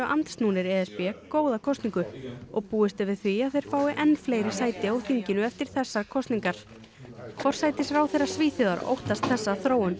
andsnúnir e s b góða kosningu og búist er við því að þeir fái enn fleiri sæti á þinginu eftir þessar kosningar forsætisráðherra Svíþjóðar óttast þesssa þróun